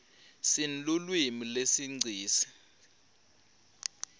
sinlulwimi lesinqisi